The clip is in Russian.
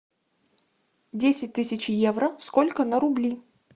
десять тысяч евро сколько на рубли